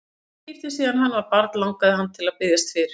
Í fyrsta skipti síðan hann var barn langaði hann til að biðjast fyrir.